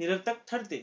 निरर्थक ठरते